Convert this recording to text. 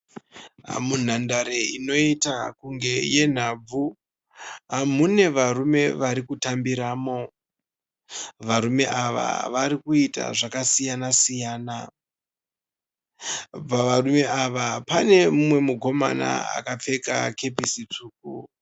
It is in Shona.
Munhandare inoita kunge yenhabvu. Mune varume varikutambiramo. Varume ava varikuita zvakasiyana siyana Pavarume ava pane mumwe mukomana akapfeka kepesi tsvuku.